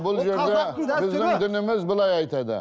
бұл жерде біздің дініміз былай айтады